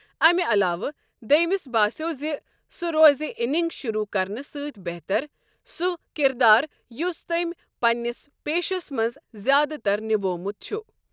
امہعلاوٕ دٔیمِس باسٮ۪و زِ سُہ روزِ اننگ شروٗع کرنہٕ سۭتۍ بہتر سُہ کِردار یُس تٔمۍ پننِس پیٚشس منٛز زیادٕ تر نِبومُت چھ۔